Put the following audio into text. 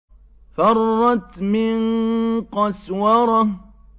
فَرَّتْ مِن قَسْوَرَةٍ